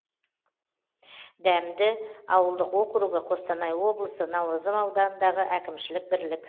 дәмді ауылдық округі қостанай облысы наурызым ауданындағы әкімшілік бірлік